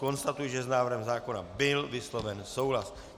Konstatuji, že s návrhem zákona byl vysloven souhlas.